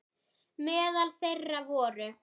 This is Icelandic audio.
Meðal þeirra voru